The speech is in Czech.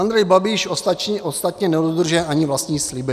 Andrej Babiš ostatně nedodržuje ani vlastní sliby.